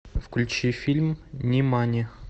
включи фильм нимани